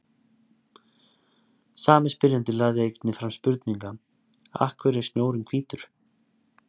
Sami spyrjandi lagði einnig fram spurninguna Af hverju er snjórinn hvítur?